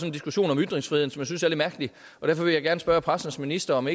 en diskussion om ytringsfriheden som jeg synes er lidt mærkelig og derfor vil jeg gerne spørge pressens minister om